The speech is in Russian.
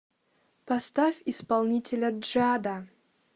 поставь исполнителя джада